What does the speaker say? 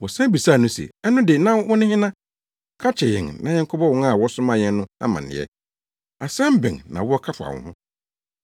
Wɔsan bisaa no se, “Ɛno de, na wone hena? Ka kyerɛ yɛn na yɛnkɔbɔ wɔn a wɔsomaa yɛn no amanneɛ. Asɛm bɛn na wowɔ ka fa wo ho?”